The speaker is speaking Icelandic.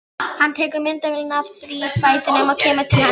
Hún var um fjörutíu sentímetra há og tuttugu sentímetra breið.